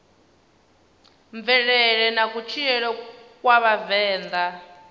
mvelele na kutshilele kwa vhavenḓa